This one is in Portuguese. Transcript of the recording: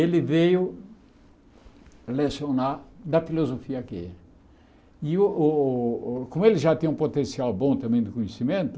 Ele veio lecionar da filosofia que é. E o o como ele já tinha um potencial bom também do conhecimento,